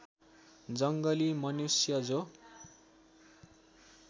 जङ्गली मनुष्य जो